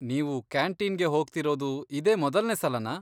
ನೀವು ಕ್ಯಾಂಟೀನ್ಗೆ ಹೋಗ್ತಿರೋದು ಇದೇ ಮೊದಲ್ನೇ ಸಲನಾ?